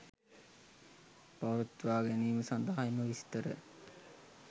පවත්වාගැනීම සඳහා එම විස්තර